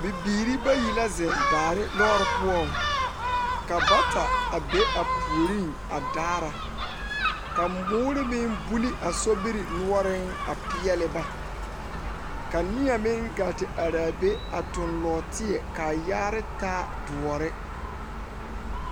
Bibiiri bayi la zeŋ daare lɔre poɔ, ka bata a be a puoriŋ a daara ka muuri meŋ buli a sobiri noɔre a pɛɛle ba, ka neɛ meŋ gaa te are a be a toŋ nɔɔteɛ kaa yaale taa doɔre.